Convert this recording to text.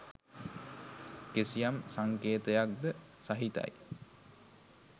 කිසියම් සංකේතයක් ද සහිතයි.